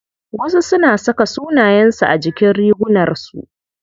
Wasu suna saka sunayen su a jikin rigunar su.